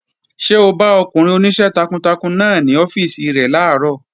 Ṣé o bá ọkùnrin oníṣẹ́ takuntakun náà ní ọ́fíìsì rẹ̀ làárọ̀?